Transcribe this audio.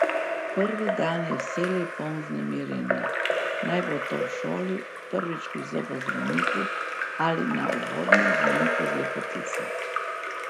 Prvi dan je vselej poln vznemirjenja, naj bo to v šoli, prvič pri zobozdravniku ali na uvodnem zmenku z lepotico.